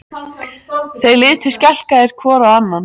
Þeir litu skelkaðir hvor á annan.